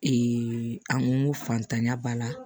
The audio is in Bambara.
an ko n ko fantanya b'a la